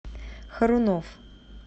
харунов